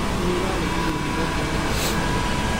nĩ ĩraregirwo ni wedi wa gwĩka maũndũ.